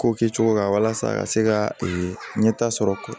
Ko kɛ cogo la walasa ka se ka ee ɲɛta sɔrɔ